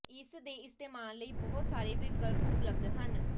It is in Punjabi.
ਇਸ ਦੇ ਇਸਤੇਮਾਲ ਲਈ ਬਹੁਤ ਸਾਰੇ ਵਿਕਲਪ ਉਪਲਬਧ ਹਨ